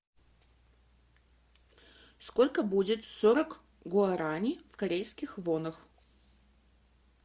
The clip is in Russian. сколько будет сорок гуарани в корейских вонах